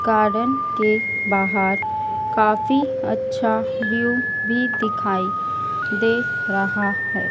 Garden के बाहर काफी अच्छा व्यू भी दिखाई दे रहा है।